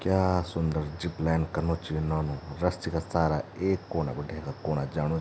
क्या सुन्दर ज़िपलाइन कनु च यु नौनु रस्सी का सहारा एक कोना बटे हैंका कोना जाणू।